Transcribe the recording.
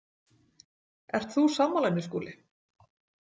Ert þú sammála henni, Skúli?